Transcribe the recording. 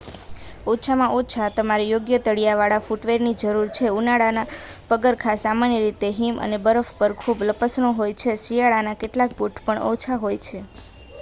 ઓછામાં ઓછા તમારે યોગ્ય તળિયા વાળા ફૂટવેરની જરૂર છે ઉનાળાના પગરખાં સામાન્ય રીતે હિમ અને બરફ પર ખૂબ લપસણો હોય છે શિયાળાના કેટલાક બૂટ પણ ઓછા હોય છે